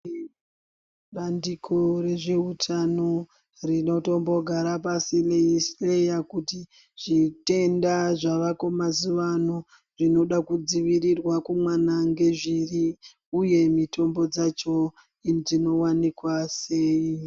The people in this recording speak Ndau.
Bandiko rezveutano rinotombogara pasirei hleya wo kuti zvitenda zvavako mazuva ano zvinoda kudzivirira kumwana ngezviri uye mitombo dzacho dzinowanikwa sei.